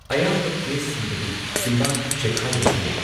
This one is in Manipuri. ꯑꯌꯥꯝꯕ ꯀꯦꯁꯁꯤꯡꯗꯗꯤ, ꯆꯤꯝꯕꯥꯟ ꯆꯦꯈꯥꯢꯕꯁꯨ ꯂꯩ꯫